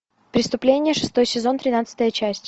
преступление шестой сезон тринадцатая часть